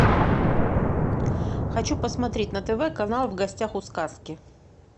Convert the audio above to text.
хочу посмотреть на тв канал в гостях у сказки